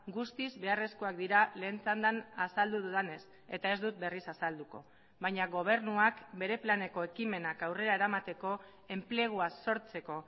guztiz beharrezkoak dira lehen txandan azaldu dudanez eta ez dut berriz azalduko baina gobernuak bere planeko ekimenak aurrera eramateko enplegua sortzeko